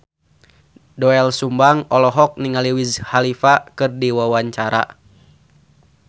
Doel Sumbang olohok ningali Wiz Khalifa keur diwawancara